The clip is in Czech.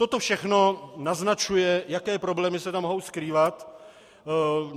Toto všechno naznačuje, jaké problémy se tam mohou skrývat.